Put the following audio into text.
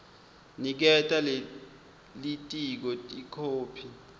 niketa lelitiko ikhophi